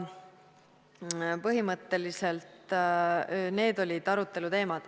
Põhimõtteliselt need olidki arutelu teemad.